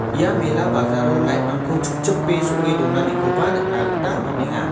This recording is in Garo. ia mela bajalo light-rangko chingchipe so·e donanikoba nikna gita man·enga.